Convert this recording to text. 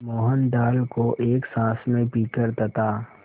मोहन दाल को एक साँस में पीकर तथा